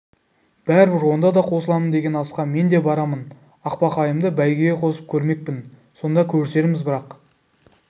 бәрібір онда да қосыламын деген асқа мен де барамын ақбақайымды бәйгеге қосып көрмекпін сонда көрісерміз бірақ